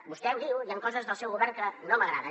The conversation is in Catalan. vostè ho diu hi han coses del seu govern que no m’agraden